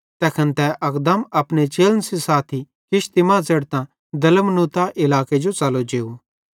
तैखन तै अकदम अपने चेलन सेइं साथी किश्ती मां च़ेढ़तां दलमनूता इलाके जो च़लो जेव